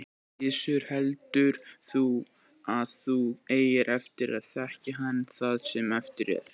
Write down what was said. Gissur: Heldur þú að þú eigir eftir að þekkja hann það sem eftir er?